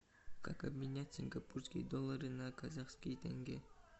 как обменять сингапурские доллары на казахские тенге